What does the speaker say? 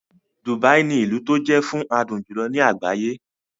Dubai ní ilú tó jé fún adùn jùlọ ní àgbáyé.